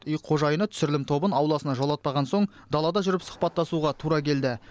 үй қожайыны түсірілім тобын ауласына жолатпаған соң далада жүріп сұхабаттасуға тура келді